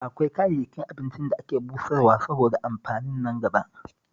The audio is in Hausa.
Akwai kayayyakin abincin da ake busarwa saboda amfanin nangaba